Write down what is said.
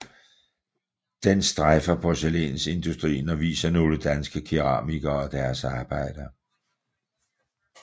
Den strejfer porcelænsindustrien og viser nogle danske keramikere og deres arbejder